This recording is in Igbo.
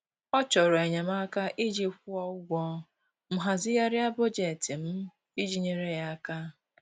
Ọ chọrọ enyemaka iji kwụọ ụgwọ, m hazigharịa bọjetị m iji nyere ya aka.